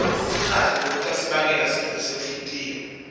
singadli lokutasibangela sifo senhltiyo